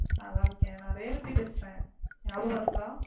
நல்லா இருக்கேன். நான் ரேவதி பேசுறேன். ஞாபகம் இருக்கா?